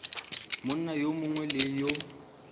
monna yo mongwe le yo